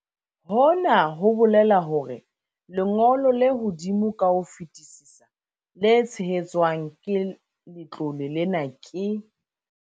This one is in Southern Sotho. Hona ho bolela hore lengo lo le hodimo ka ho fetisisa le tshehetswang ke letlole lena ke.